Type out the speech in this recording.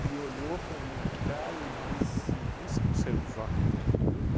E olhou para minha cara e disse, você não saiu do jockey junto comigo?